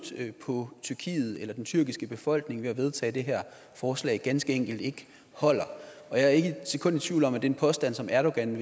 på tyrkiet eller den tyrkiske befolkning ved at vedtage det her forslag ganske enkelt ikke holder jeg er ikke et sekund i tvivl om at en påstand erdogan